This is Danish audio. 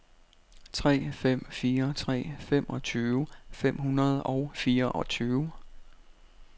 tre fem fire tre femogtyve fem hundrede og fireogtyve